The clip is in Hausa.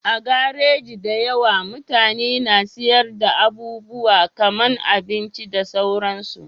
A garaji da yawa, mutane na sayar da abubuwa kaman abinci da sauransu